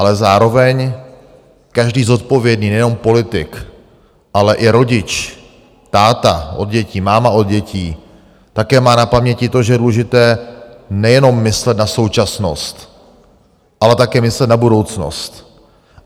Ale zároveň každý zodpovědný nejenom politik, ale i rodič, táta od dětí, máma od dětí také má na paměti to, že je důležité nejenom myslet na současnost, ale také myslet na budoucnost.